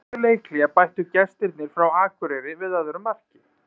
Rétt fyrir leikhlé bættu gestirnir frá Akureyri við öðru marki.